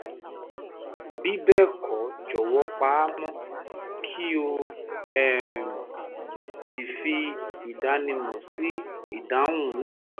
bí bẹ́ẹ̀ kọ́ jọ̀wọ́ pa á mọ́ kí o um sì fi ìdánimọ̀ sí ìdáhùn náà